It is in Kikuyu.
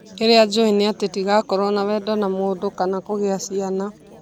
Kĩrĩa juĩni atĩ ndĩgakorwo na wendo na mũndũ kana kũgìa ciana